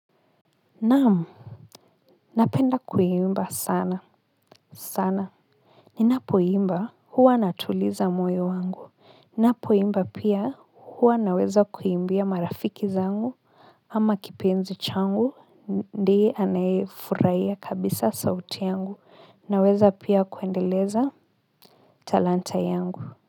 Naam, napenda kuimba sana sana ninapo imba huwa natuliza moyo wangu, ninapo imba pia huwa naweza kuimbia marafiki zangu ama kipenzi changu ndiye anayefurahiya kabisa sauti yangu naweza pia kuendeleza talanta yangu.